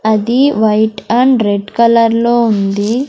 అది white and red colour లో ఉంది.